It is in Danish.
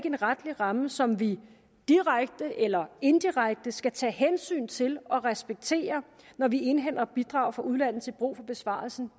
en retlig ramme som vi direkte eller indirekte skal tage hensyn til og respektere når vi indhenter bidrag fra udlandet til brug for besvarelsen